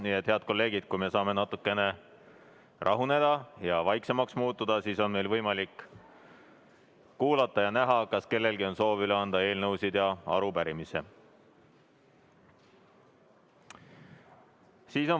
Nii et, head kolleegid, kui me natukene rahuneme ja vaiksemaks muutume, siis on võimalik kuulata ja näha, kas kellelgi on soovi üle anda eelnõusid ja arupärimisi.